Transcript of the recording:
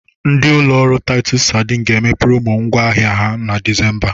Ndị ụlọ taịtọs sadin ga-eme promo ngwá ahịa ha na Disemba.